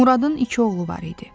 Muradın iki oğlu var idi.